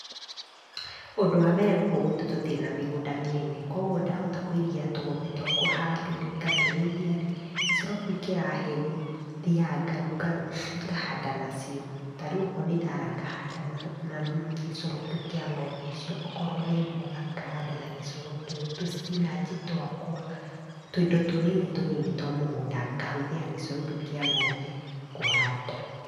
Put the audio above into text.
Ũndũ wa mbere gũkũ gwitũ tũtĩrĩ na mĩgũnda mĩnene kwoguo ndahota kwĩrigĩra tũgombe twakwa handũ rĩ ,ngatũrĩithia rĩ ,gĩcoro kĩũ kĩrahe rĩ ,thiaga ngahanda nacio ,tarĩũ wakorwo nĩ thara ngahanda na gĩcoro kĩũ kĩa ng'ombe icio ,wokorwo nĩ mboga ngahanda na gĩcoro kĩũ, tũspinachi twakwa, tũindo tũnini tũnini twa mũgũnda ngahũthĩra gĩcoro kĩũ kĩa ng'ombe ngahanda.